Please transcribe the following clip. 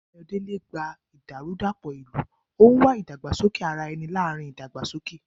Ayodele gba ìdàrúdàpọ̀ ìlú, ó ń wá ìdàgbàsókè ara ẹni láàrin ìdàgbàsókè.